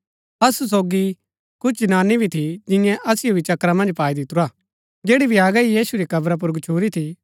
असु सोगी कुछ जनानी भी थी जियें असिओ भी चक्करा मन्ज पाई दितुरा जैड़ी भ्यागा हि यीशु री कब्रा पुर गच्छुरी थी